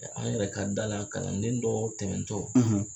Ɛ an yɛrɛ ka da la kalanden dɔ tɛmɛntɔ